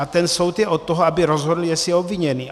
A ten soud je od toho, aby rozhodl, jestli je obviněný.